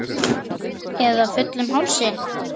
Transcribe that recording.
Eða fullum hálsi?